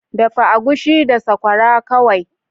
Dafa agushi da sakwara kawai